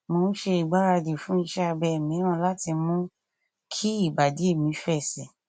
mo ń ṣe ìgbáradì fún iṣẹ abẹ mìíràn láti mú kí ìbàdí mi fẹ síi